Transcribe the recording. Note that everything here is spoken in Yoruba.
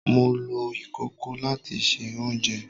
Mo lo ikoko lati se ounjẹ